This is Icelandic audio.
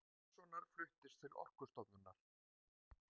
Pálmasonar fluttist til Orkustofnunar.